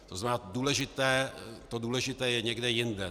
To znamená, to důležité je někde jinde.